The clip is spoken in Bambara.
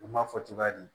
U ma fɔ cogoya di